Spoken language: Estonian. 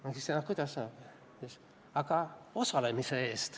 Ma küsisin, et aga kuidas nii saab.